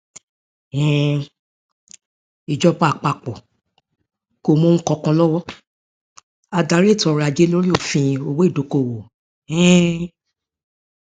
um ìjọba àpapọ kò mú ohun kankan lọwọ adarí ètòọrọajé lóri òfin owó ìdókòówò um